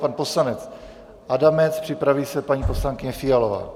Pan poslanec Adamec, připraví se paní poslankyně Fialová.